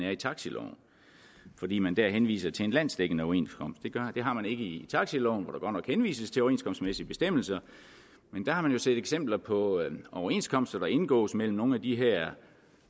er i taxiloven fordi man der henviser til en landsdækkende overenskomst det har man ikke i taxiloven hvor nok henvises til overenskomstmæssige bestemmelser men der har man jo set eksempler på overenskomster der indgås mellem nogle af de her